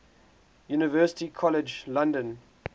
university college london